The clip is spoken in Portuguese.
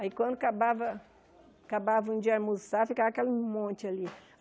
Aí, quando acabava acabavam de almoçar, ficava aquele monte ali.